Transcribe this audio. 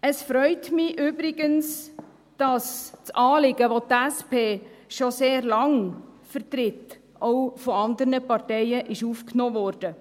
Es freut mich übrigens, dass das Anliegen, das die SP schon sehr lange vertritt, auch von anderen Parteien aufgenommen wurde.